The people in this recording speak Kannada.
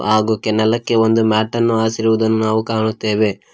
ಹಾಗೂ ಕೆನಲಕ್ಕೆ ಒಂದು ಮ್ಯಾಟನ್ನು ಹಾಸಿ ರುವುದನ್ನು ನಾವು ಕಾಣುತ್ತೇವೆ.